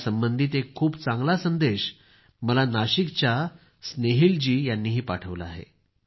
यासंबंधित एक खूप चांगला संदेश मला नाशिकच्या स्नेहीलजी यांनीही पाठवला आहे